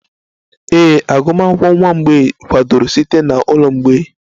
Ee, agụmakwụkwọ nwa mgbei kwadoro site na ụlọ mgbei